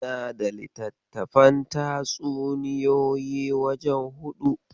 Ina da littattafan tatsuniyoyi wajen huɗu.